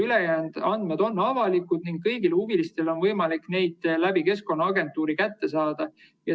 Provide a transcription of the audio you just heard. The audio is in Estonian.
Ülejäänud andmed on avalikud ning kõigil huvilistel on võimalik neid Keskkonnaagentuurist kätte saada.